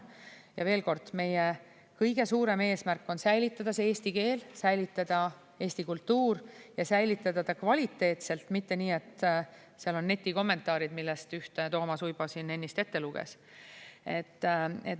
Ja veel kord, meie kõige suurem eesmärk on säilitada eesti keel, säilitada eesti kultuur ja säilitada ta kvaliteetselt, mitte nii, et seal on netikommentaarid, millest ühte Toomas Uibo siin ennist ette luges.